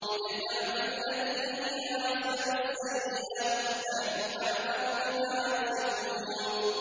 ادْفَعْ بِالَّتِي هِيَ أَحْسَنُ السَّيِّئَةَ ۚ نَحْنُ أَعْلَمُ بِمَا يَصِفُونَ